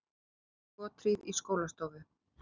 Hóf skothríð í skólastofu